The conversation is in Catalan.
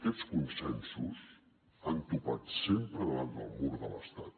aquests consensos han topat sempre davant del mur de l’estat